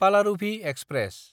Palaruvi express